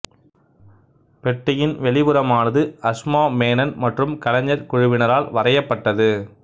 பெட்டியின் வெளிப்புறமானது அசுமா மேனன் மற்றும் கலைஞர் குழுவினரால் வரையப்பட்டது